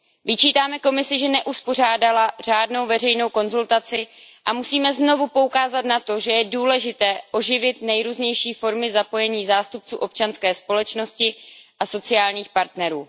Vyčítáme Komisi, že neuspořádala řádnou veřejnou konzultaci, a musíme znovu poukázat na to, že je důležité oživit nejrůznější formy zapojení zástupců občanské společnosti a sociálních partnerů.